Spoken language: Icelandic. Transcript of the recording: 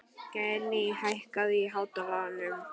Geirný, hækkaðu í hátalaranum.